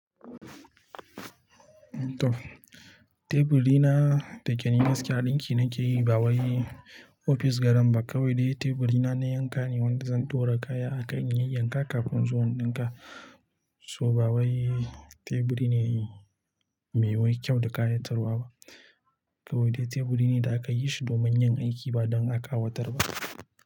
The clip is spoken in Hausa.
Toh teburi na da ke ni gaskiya ɗinki nake yi. Bawai ofis garan ba kawai dai teburi na na yanka ne wanda zan ɗora kaya a kai in yi yay-yanka kafin in zo in ɗinka. To bawai teburi ne mai wai kyau da kayatarwa ba. Kawai dai teburi ne da aka yi shi domin yin aiki ba don akawatar ba.